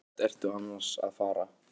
Hvert ertu annars að fara?